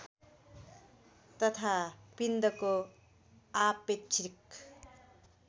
तथा पिण्डको आपेक्षिक